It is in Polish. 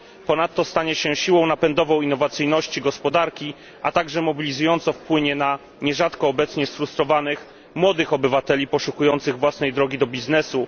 Ponadto stanie się siłą napędową innowacyjności gospodarki, a także mobilizująco wpłynie na nierzadko obecnie sfrustrowanych młodych obywateli poszukujących własnej drogi do biznesu.